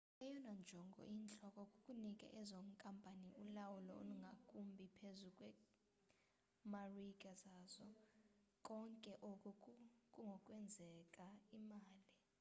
eyona njongo iyintloko kukunika ezo nkampani ulawulo olungakumbi phezu kweemarike zazo konke oku kungokwenza imali